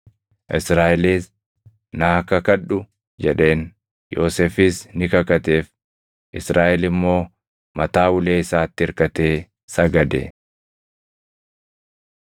Israaʼelis, “Naa kakadhu” jedheen. Yoosefis ni kakateef. Israaʼel immoo mataa ulee isaatti irkatee sagade.